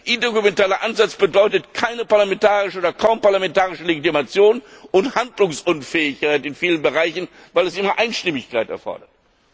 sehen. Ein intergouvernementaler Ansatz bedeutet keine parlamentarische oder kaum parlamentarische Legitimation und Handlungsunfähigkeit in vielen Bereichen, weil er immer Einstimmigkeit erfordert.